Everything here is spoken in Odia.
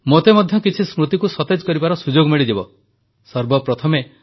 ଆପଣମାନେ ଜାଣନ୍ତି ନା ନଭେମ୍ବର ମାସ ଚତୁର୍ଥ ରବିବାରକୁ ପ୍ରତିବର୍ଷ ଏନସିସି ଦିବସ ରୂପେ ପାଳନ କରାଯାଇଥାଏ